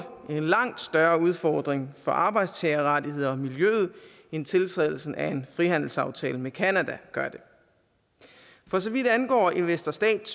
en langt større udfordring for arbejdstagerrettigheder og miljøet end tiltrædelsen af en frihandelsaftale med canada gør det for så vidt angår investor stat